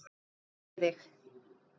Þá kveð ég þig.